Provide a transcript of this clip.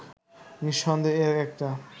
নিঃসন্দেহে এর একটা